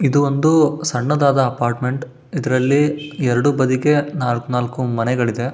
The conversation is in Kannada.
ಇದು ಒಂದು ಸಣ್ಣದಾದ ಅಪಾರ್ಟ್ಮೆಂಟ್ . ಇದರಲ್ಲಿ ಎರಡು ಬಾಡಿಗೆ ನಲಕ್ ನಾಲ್ಕ್ ಮನೆಗಳಿದೆ.